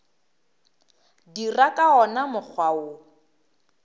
dira ka wona mokgwa wo